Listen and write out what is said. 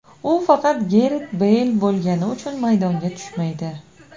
U faqat Garet Beyl bo‘lgani uchun maydonga tushmaydi.